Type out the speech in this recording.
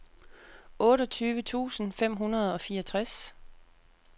otteogtyve tusind fem hundrede og fireogtres